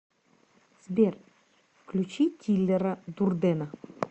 сбер включи тилера дурдена